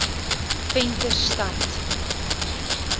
venterstad